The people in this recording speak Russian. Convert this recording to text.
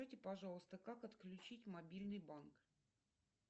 пожалуйста как отключить мобильный банк